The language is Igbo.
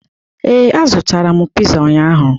Ee, azụtara m pịza ụnyaahụ.